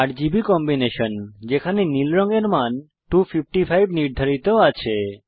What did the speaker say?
RGB combination যেখানে নীল রঙের মান 255 নির্ধারিত আছে